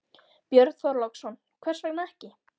Björn Þorláksson: Hvers vegna ekki?